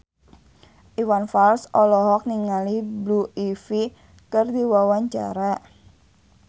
Iwan Fals olohok ningali Blue Ivy keur diwawancara